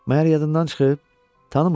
Məyər yadından çıxıb, tanımırsan?